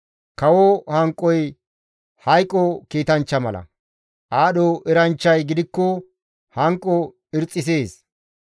Kawo hanqoy hayqo kiitanchcha mala; aadho eranchchay gidikko hanqo irxxisees.